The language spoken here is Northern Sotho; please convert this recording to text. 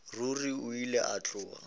ruri o be a tloga